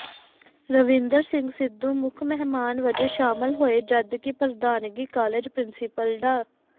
ਰਵਿੰਦਰ ਸਿੰਘ ਸਿੱਧੂ ਮੁੱਖ ਮਹਿਮਾਨ ਵਜੋਂ ਸ਼ਾਮਿਲ ਹੋਏ ਜਦਕਿ ਪ੍ਰਧਾਨਗੀ ਕਾਲਜ ਪਿ੍ੰਸੀਪਲ ਡਾ